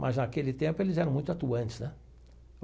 Mas naquele tempo eles eram muito atuantes, né?